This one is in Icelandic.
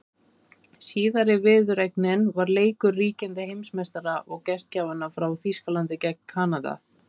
Síðari viðureignin var leikur ríkjandi heimsmeistara og gestgjafanna frá Þýskalandi gegn Kanada.